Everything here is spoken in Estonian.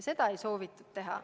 Seda ei soovitud teha.